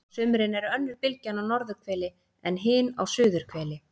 á sumrin er önnur bylgjan á norðurhveli en hin á suðurhveli